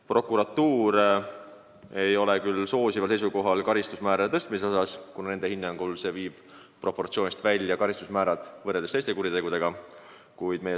Prokuratuur siiski ei ole soosival seisukohal, kuna nende hinnangul poleks selle karistusmäära suurendamine proportsionaalne karistustega teiste kuritegude eest.